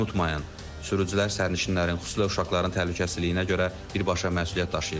Unutmayın, sürücülər sərnişinlərin, xüsusilə uşaqların təhlükəsizliyinə görə birbaşa məsuliyyət daşıyırlar.